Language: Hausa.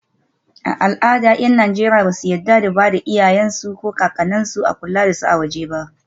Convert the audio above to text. Typically Nigerians do not find it culturally acceptable to place their parents or grandparents under 'external' home care.